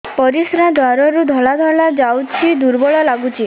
ପରିଶ୍ରା ଦ୍ୱାର ରୁ ଧଳା ଧଳା ଯାଉଚି ଦୁର୍ବଳ ଲାଗୁଚି